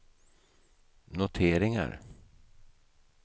noteringar